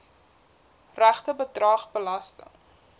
regte bedrag belasting